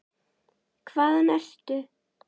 Hvaðan ertu?